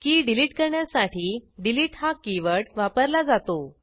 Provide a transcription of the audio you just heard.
की डिलिट करण्यासाठी डिलीट हा कीवर्ड वापरला जातो